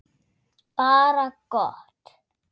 Bara gott.